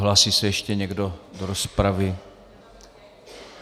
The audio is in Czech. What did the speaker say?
Hlásí se ještě někdo do rozpravy?